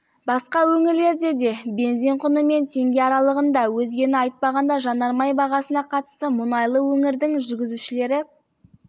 басқа өңірлерде де бензин құны мен теңге аралығында өзгені айтпағанда жанармай бағасына қатысты мұнайлы өңірдің жүргізушілері